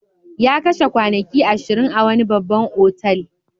Ya kashe kwanaki ashirin a wani babban otal.